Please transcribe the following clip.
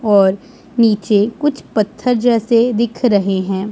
और नीचे कुछ पत्थर जैसे दिख रहें हैं।